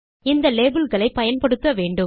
இந்த லேபல் களை பயன்படுத்த வேண்டும்